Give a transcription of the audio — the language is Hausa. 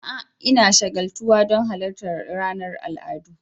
A'a! Ina shagaltuwa don halartar ranar al'adu.